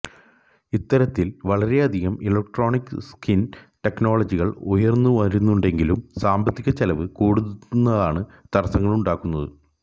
ഇത്തരത്തില് വളരെയധികം electronic skin ടെക്നോളജികള് ഉയന്നുവരുന്നുണ്ടെങ്കിലും സാമ്പത്തികച്ചെലവ് കൂടുന്നതാണ് തടസങ്ങളുണ്ടാക്കുന്നത്